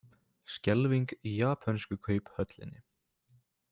Skelfing í japönsku kauphöllinni